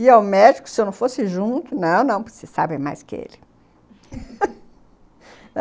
E ao médico, se eu não fosse junto... Não, não, você sabe mais que ele